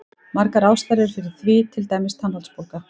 Margar ástæður eru fyrir því, til dæmis tannholdsbólga.